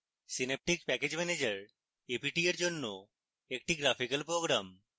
Synaptic package manager a p t এর জন্য একটি graphical program